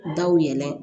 Daw yɛlɛ